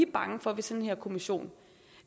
bange for ved sådan en kommission